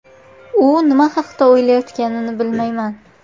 U nima haqida o‘ylayotganini bilmayman.